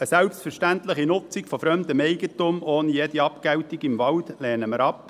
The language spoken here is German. Eine selbstverständliche Nutzung von fremdem Eigentum im Wald ohne jede Abgeltung lehnen wir ab.